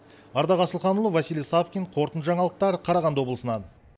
ардақ асылханұлы василий сапкин қорытында жаңалықтар қарағанды облысынан